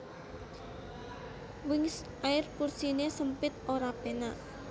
Wings Air kursine sempit ora penak